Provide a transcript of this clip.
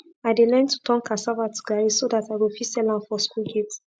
i dey learn to to turn casava to garri so dat i go fit sell am for school gate